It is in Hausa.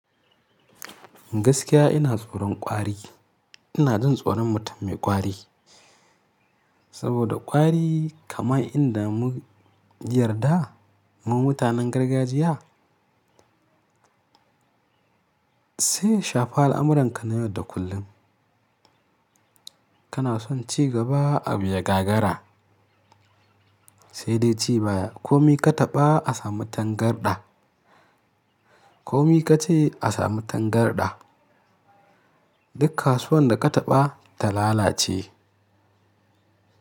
Gaskiya ina tsoron kwari. Ina jin tsoron mutum mai kwari saboda kwari kamar inda mu yarda mu mutanen gargajiya sai ya shafi al'amuranka na yau da kullum. Kana son ci gaba a biya gagara sai dai ci baya. Komi ka taɓa a samu tangarɗa, komi ka ci a samu tangarɗa, duk kasuwan da ka taɓa ta lalace.